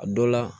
A dɔ la